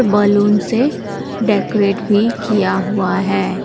Balloon से decorate भी किया हुआ है।